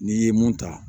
N'i ye mun ta